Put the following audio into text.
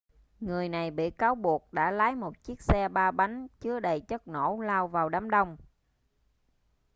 người này bị cáo buộc đã lái một chiếc xe ba bánh chứa đầy chất nổ lao vào đám đông